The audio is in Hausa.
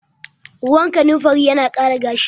Ruwan kanimfari yana ƙara gashi